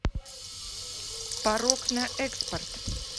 порок на экспорт